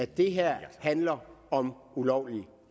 det her handler om ulovlige